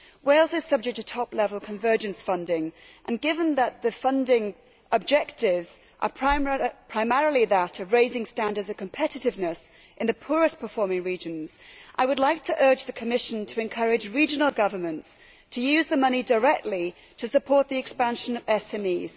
Wales is subject to top level convergence funding, and given that the primary funding objective is that of raising standards of competitiveness in the poorest performing regions, I would like to urge the Commission to encourage regional governments to use the money directly to support the expansion of SMEs.